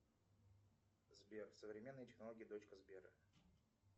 сбер современные технологии дочка сбера